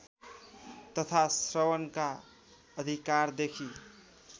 तथा श्रवणका अधिकारदेखि